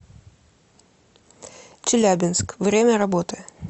челябинск время работы